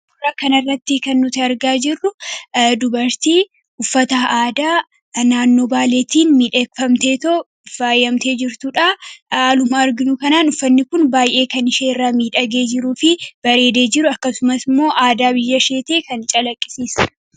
Kanarratti kan irratti kan nuti argaa jirru dubartii uffataa aadaa naannoo baaleetiin miidheekfamtee faayyamtee jirtuudha haaluma arginuu kanaan uffanni kun baay'ee kan isheerraa miidhagee jiruu fi bareedee jiru akkasuma immoo aadaa biyya ishee kan calaqqisiisudha